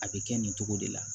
A bɛ kɛ nin cogo de la